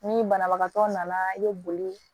Ni banabagatɔ nana i bɛ boli